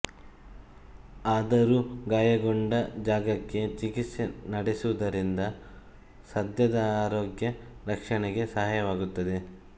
ಆದರೂ ಗಾಯಗೊಂಡ ಜಾಗಕ್ಕೆ ಚಿಕಿತ್ಸೆ ನಡೆಸುವುದರಿಂದ ಸಸ್ಯದ ಆರೋಗ್ಯ ರಕ್ಷಣೆಗೆ ಸಹಾಯವಾಗುತ್ತದೆ